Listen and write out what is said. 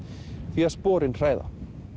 því að sporin hræða